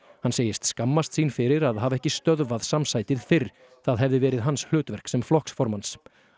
hann segist skammast sín fyrir að hafa ekki stöðvað fyrr það hefði verið hans hlutverk sem flokksformanns